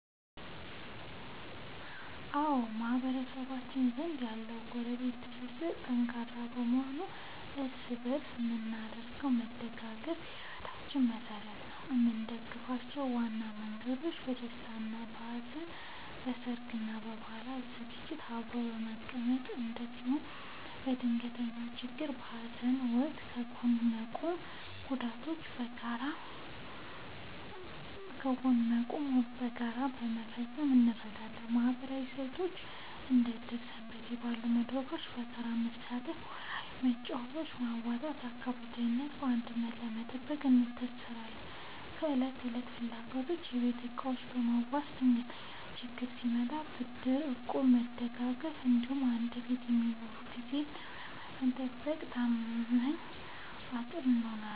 አዎ፣ በማህበረሰባችን ዘንድ ያለው የጎረቤት ትስስር ጠንካራ በመሆኑ እርስ በእርስ የምናደርገው መደጋገፍ የሕይወታችን መሠረት ነው። የምንደጋገፍባቸው ዋና መንገዶች፦ በደስታና በሐዘን፦ በሠርግና በበዓላት ዝግጅቶችን አብሮ በመቀመም፣ እንዲሁም በድንገተኛ ችግርና በሐዘን ወቅት ከጎን በመቆምና ጉዳዮችን በጋራ በማስፈጸም እንረዳዳለን። በማኅበራዊ እሴቶች፦ እንደ ዕድር እና ሰንበቴ ባሉ መድረኮች በጋራ በመሳተፍ፣ ወርሃዊ መዋጮዎችን በማዋጣትና የአካባቢን ደህንነት በአንድነት በመጠበቅ እንተሳሰራለን። በዕለት ተዕለት ፍላጎቶች፦ የቤት ዕቃዎችን በመዋዋስ፣ ድንገተኛ ችግር ሲመጣ በብድርና በእቁብ በመደጋገፍ እንዲሁም አንዱ ከቤት በማይኖርበት ጊዜ ንብረትን በመጠባበቅ ታማኝ አጥር እንሆናለን።